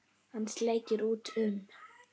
Hann sleikir út um.